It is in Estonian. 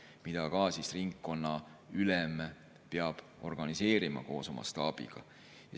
ka ringkonnaülem peab organiseerima koos oma staabiga.